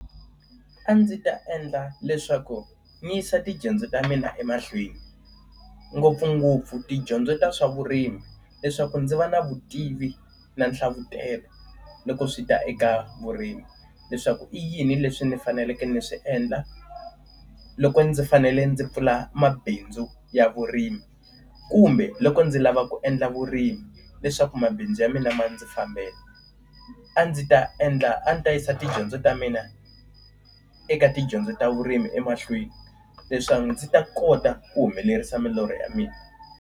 A ndzi ta endla leswaku ni yisa tidyondzo ta mina emahlweni. Ngopfungopfu tidyondzo ta swa vurimi leswaku ndzi va na vutivi na nhlavutelo loko swi ta eka vurimi. Leswaku i yini leswi ni faneleke ni swi endla loko ndzi fanele ndzi pfula mabindzu ya vurimi, kumbe loko ndzi lava ku endla vurimi leswaku mabindzu ya mina ma ndzi fambela. A ndzi ta endla a ni ta yisa tidyondzo ta mina eka tidyondzo ta vurimi emahlweni leswaku ndzi ta kota ku humelerisa milorho ya mina.